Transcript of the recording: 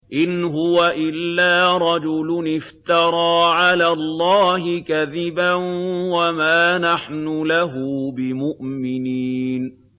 إِنْ هُوَ إِلَّا رَجُلٌ افْتَرَىٰ عَلَى اللَّهِ كَذِبًا وَمَا نَحْنُ لَهُ بِمُؤْمِنِينَ